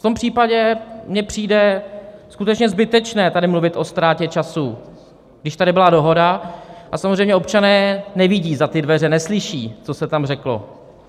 V tom případě mi přijde skutečně zbytečné tady mluvit o ztrátě času, když tady byla dohoda, a samozřejmě občané nevidí za ty dveře, neslyší, co se tam řeklo.